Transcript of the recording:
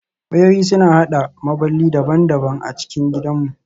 Wayoyi suna haɗa maɓalli daban-daban a cikin gidanmu